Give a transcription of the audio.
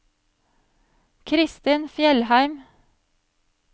Christin Fjellheim